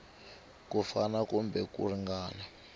ku fana kumbe ku ringana